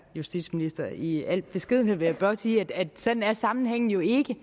justitsministeren i al beskedenhed vil jeg blot sige at sådan er sammenhængen jo ikke